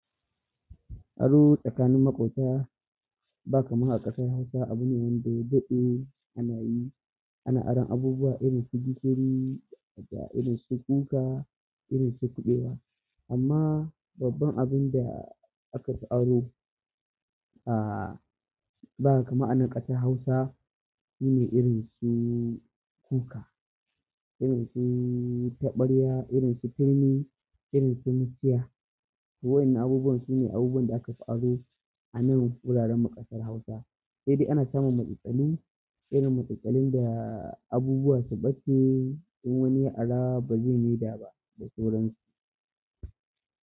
Aro tsakanin maƙota ba kaman a ƙasar Hausa abune wanda ya daɗe ana yi. Ana aron abubuwa irin su gishiri, irin su kuka, irin su kuɓewa. Amma babban abun da aka fi aro, ah, ba kaman a nan ƙasar Hausa shine irin su kuka, irin su taɓarya, irin su turmi, irin su muciya. Waɗannan abubuwan su ne abubuwan da aka fi aro a nan wuraren makasar Hausa. Sai dai ana samun matsaltsalu rin matsaltsalun da abubuwa su bace in wani ya ara ba zai maida ba da sauran su.